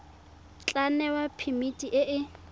tla newa phemiti e e